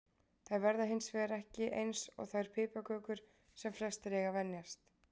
Þær verða hins hins vegar ekki eins og þær piparkökur sem flestir eiga að venjast.